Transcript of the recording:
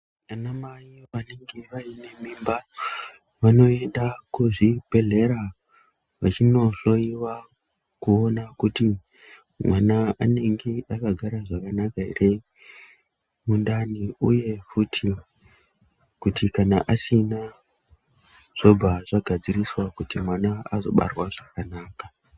Ana mai vanenge vaine mimba vanoende kuzvibhedlera vachinohloriwa kuona kuti mwana anenge akagara zvakanaka here muntandi uye kuti kana asina zvobva zvagadziriswa kuti mwana azobarwa zvakanaka.